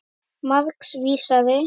Margs vísari.